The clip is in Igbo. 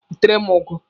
Wetere m ụgụ!